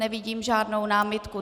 Nevidím žádnou námitku.